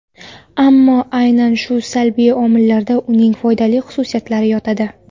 Ammo aynan shu salbiy omillarda uning foydali xususiyatlari yotadi.